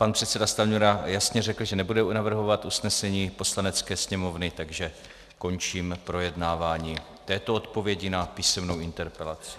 Pan předseda Stanjura jasně řekl, že nebude navrhovat usnesení Poslanecké sněmovny, takže končím projednávání této odpovědi na písemnou interpelaci.